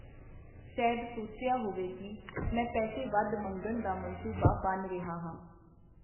ਸ਼ੈਦ ਸੋਚਿਆ ਹੋਵੇ ਕੀ ਮੈਂ ਪੈਸੇ ਵਧ ਮੰਗਣ ਦਾ ਮਨਸੂਬਾ ਬੰਨ੍ਹ ਰਿਹਾ ਹਾਂ.